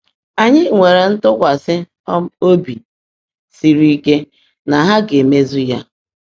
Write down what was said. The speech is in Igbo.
Anyị nwere ntụkwasị um obi siri ike na ha ga-emezu ya.